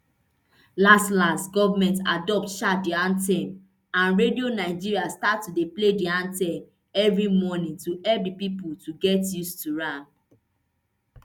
las las goment adopt um di anthem and radio nigeria start to dey play di anthem evri morning to help di pipo to get used to am